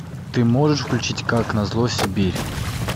ты можешь включить как назло сибирь